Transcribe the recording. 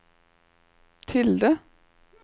tilde